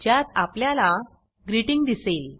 ज्यात आपल्याला ग्रीटिंग दिसेल